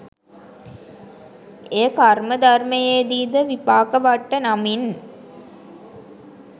එය කර්ම ධර්මයේදීද විපාකවට්ට නමින්